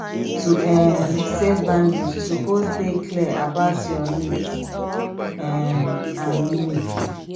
to um set boundaries yu suppose dey clear about yur nids um and limits